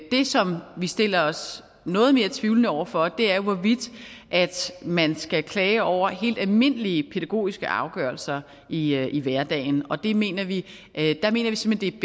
det som vi stiller os noget mere tvivlende over for er jo hvorvidt man skal klage over helt almindelige pædagogiske afgørelser i i hverdagen og der mener vi simpelt